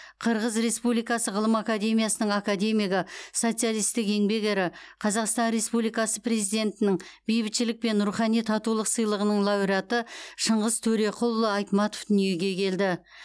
қырғыз республикасы ғылым академиясының академигі социалистік еңбек ері қазақстан республикасы президентінің бейбітшілік пен рухани татулық сыйлығының лауреаты шыңғыс төреқұлұлы айтматов дүниеге келді